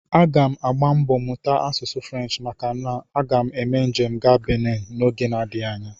Aga m agba mbọ mụta asụsụ French maka na aga m eme njem gaa Benin oge adịghị anya